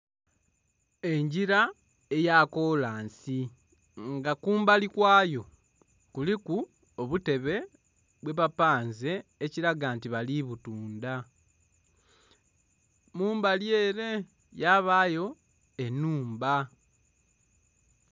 Enjira eya kolansi nga kumbali kwayo kuliku obutebe bwe bapanze ekiraga nti bali butunda, mumbali ere yabayo enumba